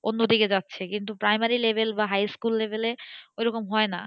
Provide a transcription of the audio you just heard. অন্যদিকে যাচ্ছে কিন্তু primary level বা high school level এ ওইরকম হয়না।